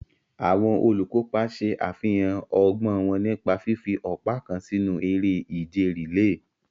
Àwọn olùkópa ṣe àfihàn ọgbọ́n wọn nípa fífi ọ̀pá kan sínú eré ìje rìléè.